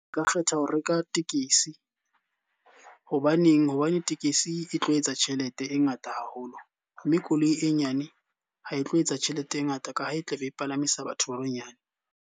Nka kgetha ho reka tekesi, hobaneng? Hobane tekesi e tlo etsa tjhelete e ngata haholo. Mme koloi e nyane ha e tlo etsa tjhelete e ngata ka ha e tla be e palamisa batho ba banyane.